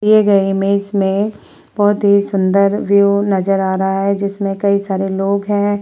दिए गए इमेज में बहोत ही सुंदर व्यू नजर आ रहा है जिसमें कई सारे लोग हैं।